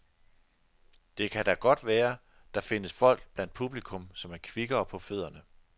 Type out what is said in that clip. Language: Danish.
Det kan da det godt være, der findes folk blandt publikum, som er kvikkere på fødderne.